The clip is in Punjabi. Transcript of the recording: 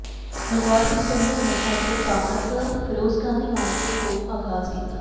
ਬਲਕਾਰ ਸਿੰਘ ਸੰਧੂ ਨੇ ਅੱਜ ਸਥਾਨਕਫਿਰੋਜ਼ ਗਾਂਧੀ ਮਾਰਕੀਟ ਤੋਂ ਆਗਾਜ਼ ਕੀਤਾ